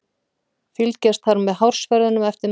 Fylgjast þarf með hársverðinum eftir meðferð.